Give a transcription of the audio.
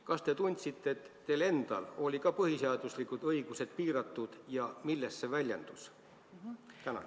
Kas te tundsite, et teil endal olid ka põhiseaduslikud õigused piiratud ja milles see väljendus?